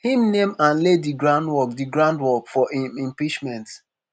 im name and lay di groundwork di groundwork for im impeachment.